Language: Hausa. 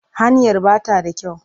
Hanyar ba ta da kyau.